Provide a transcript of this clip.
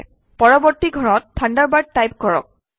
পৰৱৰ্তী ঘৰত Thunderbird type কৰক